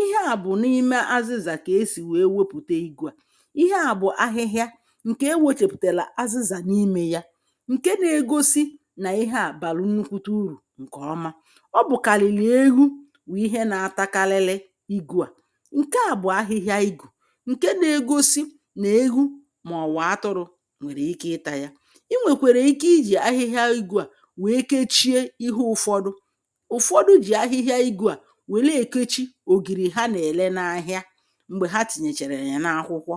ihe à bụ̀ n’ime azịzà kà esì wèe wepùte igū à ihe à bụ̀ ahịhịa ǹkè ewōchèpùtèlè azịzà n’imē ya ǹke na-egosi nà ihe à bàra nnukwute urù ǹkè ọma ọ bụ̀kàlìlì eghu bụ̀ ihe na-atakalili igū à ǹke à bụ̀ ahịhịa igù ǹke na-egosi nà eghu màọ̀bụ̀ atụrụ̄ nwèrè ike ịtā ya. ị nwèkwèrè ike ijì ahịhịa igū à wèe kechie ihe ụ̀fọdụ ụ̀fọdụ jì ahịhịa igū à wère èkechi ògìrì ha nà-èle n’ahịa m̀gbè ha tìnyèchèrè yà n’akwụkwọ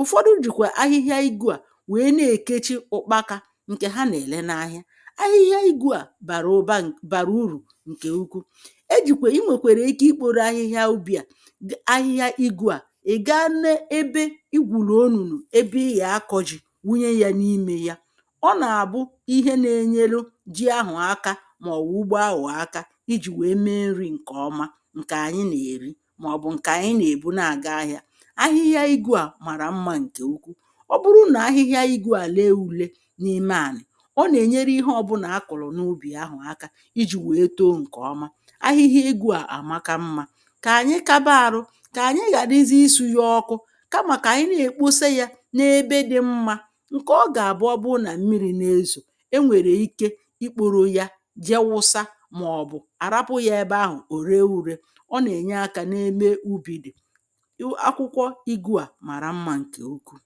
ụ̀fọdụ jìkwà ahịhịa igū à wèe na-èkechi ụ̀kpakā ǹkè ha nà-èle n’ahịa ahịhịa igū à bàrà ụ̀ba bàrà urù ǹkè ukwu ejìkwè ị nwèkwèrè ike ikpōro ahịhịa ubī à ahịhịa igū à ị̀ ga n’ebe ị gwùrù onùnù ebe ị yà-akọ̄ ji wụnye yē n’imē ya ọ nà-àbụ ihe na-enyeru ji ahụ̀ aka màọ̀bụ̀ ugbo awụ̀ aka ijī wèe me nrī ǹkè ọma ǹkè ànyị nà-èri màọ̀bụ̀ ǹkè ànyị nà-èbu na-àga ahị̄ā aḥihịa igū à màrà mmā ǹkè ukwu ọ bụrụ nà ahịhịa igū à le ule n’ime ànà ọ nà-ènyere ihe ọbụnà akụ̀lụ̀ n’ubì ahụ̀ aka ijī wèe to ǹkè ọma ahịhịa igū à àmaka mmā kà ànyị kaba arụ kà ànyị ghàrizi ịsụ̄nye ọkụ kamà kà ànyị na-èkpose yē n’ebe dị mmā ǹkè ọ gà-àbụ ọ bụ nà ̣mmirī na-ezò enwèrè ike ikpōro ya je wusa màọ̀bụ̀ àrapụ̄ yā ebe ahụ̀ ò re ure ọ nà-ènye akā n’ebe ubī dị̀ akwụkwọ igū à màrà mmā ǹkè ukwuù.